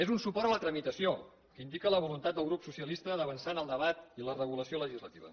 és un suport a la tramitació que indica la voluntat del grup socialista d’avançar en el debat i la regulació legislativa